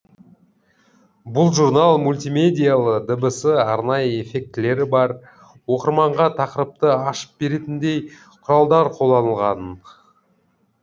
бұл журнал мультимедиялы дыбысы арнайы эффектілері бар оқырманға тақырыпты ашып беретіндей құралдар қолданылған